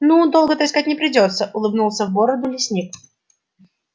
ну долго-то искать не придётся улыбнулся в бороду лесник